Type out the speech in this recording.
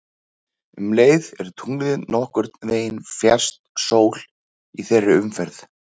Um leið er tunglið nokkurn veginn fjærst sól í þeirri umferð.